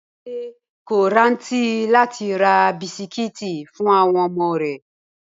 Bímpé kò rántí ra bisikíìtì fún àwọn ọmọ rẹ̀